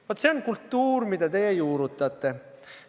" Vaat see on kultuur, mida te juurutate.